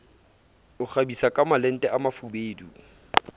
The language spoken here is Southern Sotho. o kgabisa kamalente a mafubedu